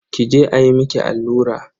Ki je ayi miki allura.